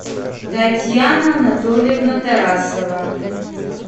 татьяна анатольевна тарасова